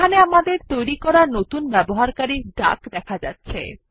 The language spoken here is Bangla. এখানে আমাদের তৈরী করা নতুন ব্যবহারকারী ডাক দেখা যাচ্ছে